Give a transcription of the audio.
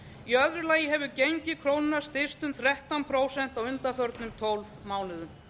í öðru lagi hefur gengi krónunnar styrkst um þrettán prósent á undanförnum tólf mánuðum